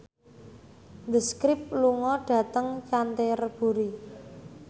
The Script lunga dhateng Canterbury